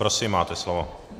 Prosím, máte slovo.